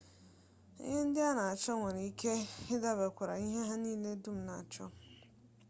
ihe ndị a na-achọ nwere ike idabere na mba ndị onye njem gagoro maọbụ ndị ọ chọrọ ịga